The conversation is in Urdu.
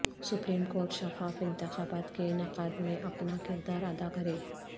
سپریم کورٹ شفاف انتخابات کے انعقاد میں اپنا کردار ادا کرے